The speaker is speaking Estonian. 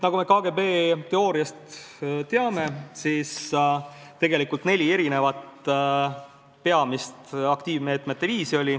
Nagu me KGB teooriast teame, oli neli peamist aktiivmeetmete viisi.